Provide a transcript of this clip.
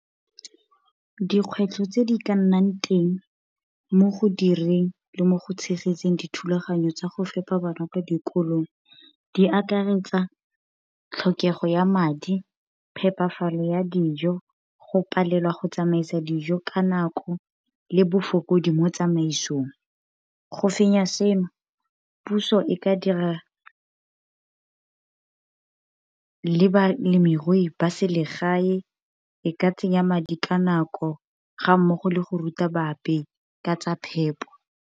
Dikgwetlho tse di ka nnang teng mo go direng le mo go tshegetseng dithulaganyo tsa go fepa bana kwa dikolong. Di akaretsa tlhokego ya madi, phepafalo ya dijo, go palelwa go tsamaisa dijo ka nako, le bofokodi mo tsamaisong. Go fenya seno, puso e ka dira le ba ba selegae e ka tsenya madi ka nako, ga mmogo le go ruta baepi ka tsa phepo.